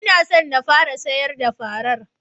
N'na so n fara sayar da farar.